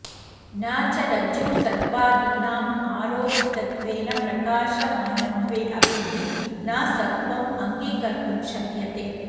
न च रज्जुसर्पादीनां आरोपितत्वेन प्रकाशमानत्वे अपि न सत्त्वम् अङ्गीकर्तुं शक्यते